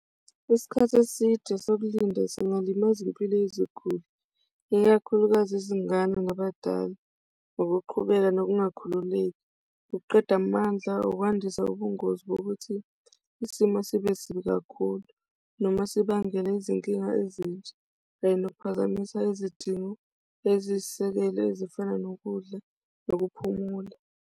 Isikhathi eside sokulinda singalimaza impilo yeziguli, ikakhulukazi izingane nabadala, ikukhululeka nokungakhululeki, ukuqeda amandla ukwandisa ubungozi bokuthi isimo sibe sibi kakhulu noma sibangele izinkinga ezintsha, kanye nokuphazamisa izidingo eziyisisekelo ezifana nokudla nokuphumula.